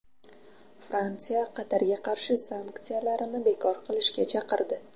Fransiya Qatarga qarshi sanksiyalarni bekor qilishga chaqirdi.